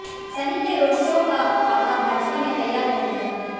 सनी के road show का खाका भाजपा ने तैयार कर लिया है